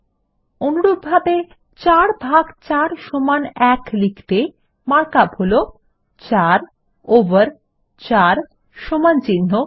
অনুরূপভাবে ৪ ভাগ ৪ সমান ১ লিখতে মার্কআপ হল ৪ ওভার ৪ সমানচিন্হ ১